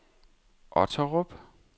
Otterup